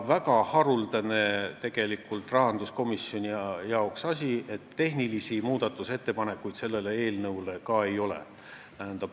Ja mis rahanduskomisjonis väga haruldane: ka tehnilisi muudatusettepanekuid selle eelnõu kohta ei ole.